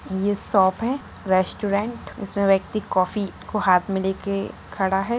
ये शॉप है रेस्टोरेंट इसमे व्यक्ति कॉफी को हाथ में लेके खड़ा है।